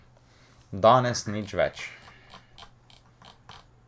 Danes nič več.